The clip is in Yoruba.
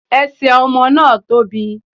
Ẹsẹ̀ ọmọ náà tóbi